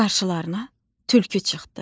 Qarşılarına tülkü çıxdı.